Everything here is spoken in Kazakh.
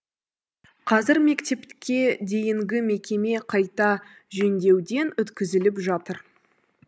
қазір мектепке дейінгі мекеме қайта жөндеуден өткізіліп жатыр